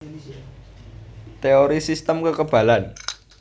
Teori sistem kekebalan